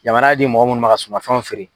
Jamana di mɔgɔ munnu ma ka sumafɛnw feere